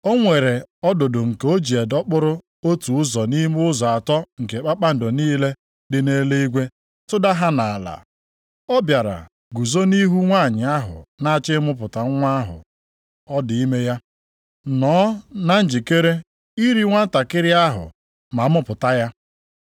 O nwere ọdụdụ nke o ji dọkpụrụ otu ụzọ nʼime ụzọ atọ nke kpakpando niile dị nʼeluigwe, tụda ha nʼala. Ọ bịara guzo nʼihu nwanyị ahụ na-achọ ịmụpụta nwa ahụ ọ dị ime ya, nọọ na njikere iri nwantakịrị ahụ ma a mụpụta ya.